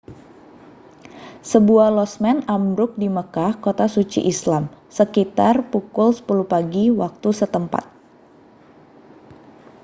sebuah losmen ambruk di makkah kota suci islam sekitar pukul 10 pagi waktu setempat